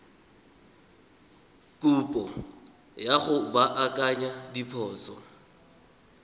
kopo ya go baakanya diphoso